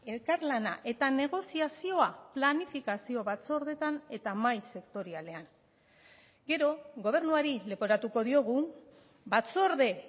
elkarlana eta negoziazioa planifikazio batzordeetan eta mahai sektorialean gero gobernuari leporatuko diogu batzorde